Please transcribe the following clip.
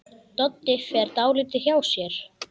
Doddi fer dálítið hjá sér.